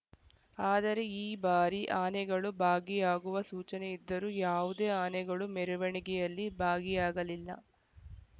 ಆದರೆ ಈ ಬಾರಿ ಆನೆಗಳು ಭಾಗಿಯಾಗುವ ಸೂಚನೆ ಇದ್ದರೂ ಯಾವುದೇ ಆನೆಗಳು ಮೆರವಣಿಗೆಯಲ್ಲಿ ಭಾಗಿಯಾಗಲಿಲ್ಲ